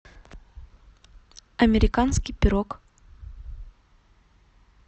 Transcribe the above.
американский пирог